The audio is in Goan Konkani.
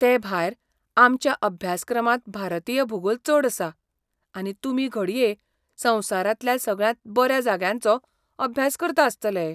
तेभायर, आमच्या अभ्यासक्रमांत भारतीय भूगोल चड आसा, आनी तुमी घडये संवसारांतल्या सगळ्यांत बऱ्या जाग्यांचो अभ्यास करता आसतले!